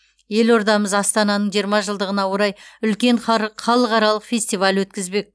елордамыз астананың жиырма жылдығына орай үлкен халықаралық фестиваль өткізбек